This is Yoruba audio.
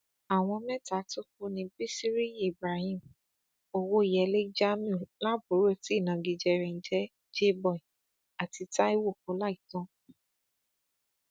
àwọn mẹta tó kú ní bisiriyi ibrahim owóyẹlé jamiu laburo tí ìnagijẹ rẹ ń jẹ jay boy àti taiwo ọláìtàn